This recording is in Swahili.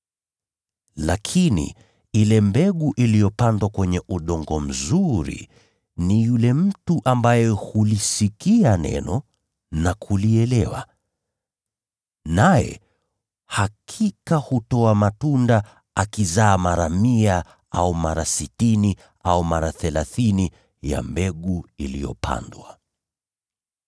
Lakini ile mbegu iliyopandwa kwenye udongo mzuri ni yule mtu ambaye hulisikia neno na kulielewa. Naye hakika huzaa matunda, akizaa mara mia, au mara sitini, au mara thelathini ya mbegu iliyopandwa.”